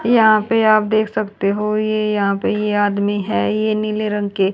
यहां पे आप देख सकते हो ये यहां पे ये आदमी है ये नीले रंग के--